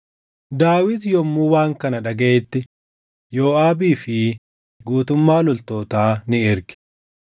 Daawit yommuu waan kana dhagaʼetti Yooʼaabii fi guutummaa loltootaa ni erge.